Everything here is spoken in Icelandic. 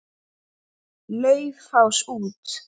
Laufás út.